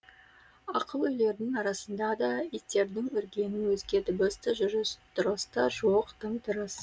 ақыл үйлердің арасында да иттердің үргенінен өзге дыбыс та жүріс тұрыс та жоқ тым тырыс